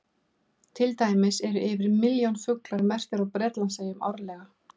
Til dæmis eru yfir milljón fuglar merktir á Bretlandseyjum árlega.